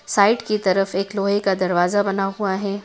Site की तरफ एक लोहे का दरवाजा बना हुआ है।